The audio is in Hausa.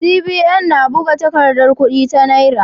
CBN na buga takardar kudi ta Naira.